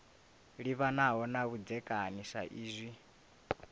livhanaho na vhudzekani sa hezwi